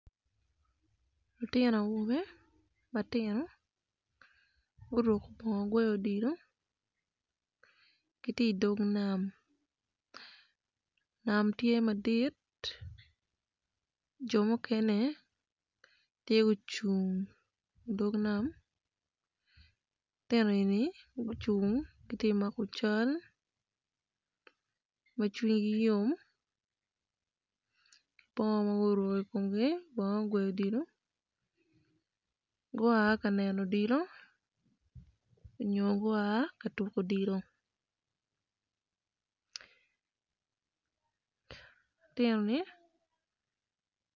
Lutino awobe matino guruko bongo gweyo odilo gitye i dog nam nam tye madit jo mukene gitye gucung i dog nam lutino eni cwinygi yom.